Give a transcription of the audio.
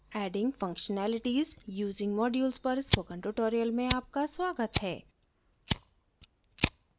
adding functionalities using modules पर spoken tutorial में आपका स्वागत है